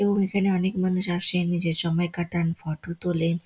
এবং এইখানে অনকে মানুষ আসেন নিজের সময় কাটান ফটো তোলেন।